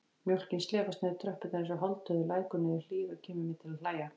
Mjólkin slefast niður tröppurnar einsog hálfdauður lækur niður hlíð og kemur mér til að hlæja.